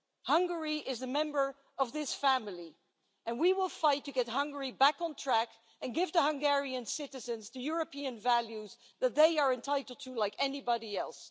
Hungary is a member of this family, and we will fight to get Hungary back on track and give Hungarian citizens the European values that they are entitled to, like anybody else.